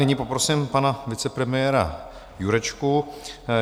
Nyní poprosím pana vicepremiéra Jurečku.